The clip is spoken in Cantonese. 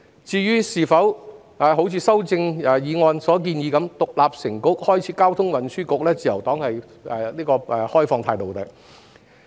至於是否如修正案所建議般把一個範疇獨立成局，開設交通運輸局，自由黨則持開放態度。